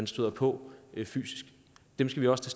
støder på fysisk dem skal vi også